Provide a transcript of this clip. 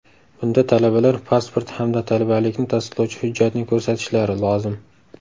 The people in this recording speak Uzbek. Bunda talabalar pasport hamda talabalikni tasdiqlovchi hujjatni ko‘rsatishlari lozim.